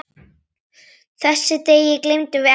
Þessum degi gleymum við ekki.